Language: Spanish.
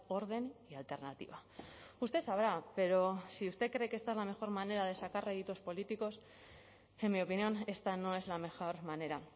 orden y alternativa usted sabrá pero si usted cree que esta es la mejor manera de sacar réditos políticos en mi opinión esta no es la mejor manera